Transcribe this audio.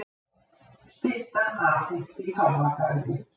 Stytta afhent í Páfagarði